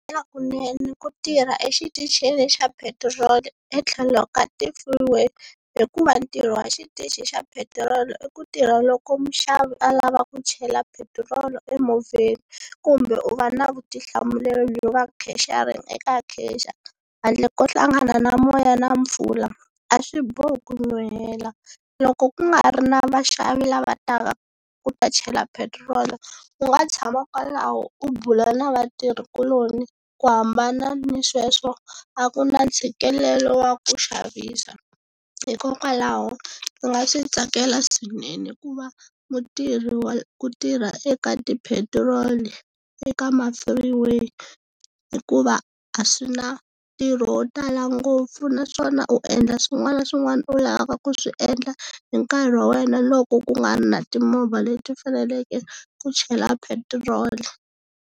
Kunene ku ti tirh exitichini xa petiroli etlhelo ka ti-freeway hikuva ntirho wa xitichi xa petiroli i ku tirha loko muxavi a lava ku chela petiroli emovheni kumbe u va na vutihlamuleri eka handle ko hlangana na moya na mpfula a swi bohi ku nyuhela loko ku nga ri na vaxavi lava taka ku ta chela petiroli u nga tshama kwalaho u bula na vatirhikuloni ku hambana ni sweswo a ku na ntshikelelo wa ku xavisa, hikokwalaho ndzi nga swi tsakela swinene ku va mutirhi wa ku tirha eka tipetiroli eka ma-freeway hikuva a swi na ntirho wo tala ngopfu naswona u endla swin'wana na swin'wana u lavaka ku swi endla hi nkarhi wa wena loko ku nga ri na timovha leti faneleke ku chela petiroli.